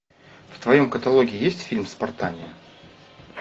в твоем каталоге есть фильм спартания